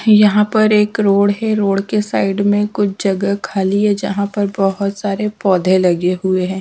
यहां पर एक रोड है रोड के साइड में कुछ जगह खाली है जहां पर बहुत सारे पौधे लगे हुए हैं।